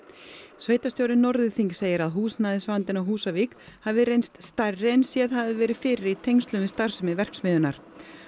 sveitarstjóri Norðurþings segir að húsnæðisvandinn á Húsavík hafi reynst stærri en séð hafi verið fyrir í tengslum við starfsemi verksmiðjunnar